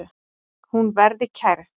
Hún verði kærð.